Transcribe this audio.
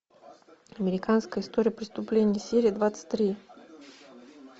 американская история преступлений серия двадцать три